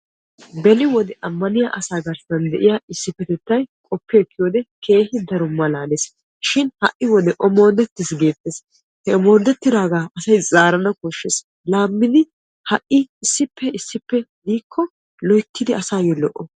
Beni wode amanniya asaa garssan de'iya issipetettay keehippe malaales. Shin ha'i wode omoodetiis geetes he omoodetidaaga zaarana koshees.